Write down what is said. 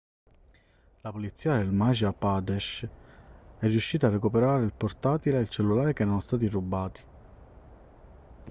la polizia del madhya pradesh è riuscita a recuperare il portatile e il cellulare che erano stati rubati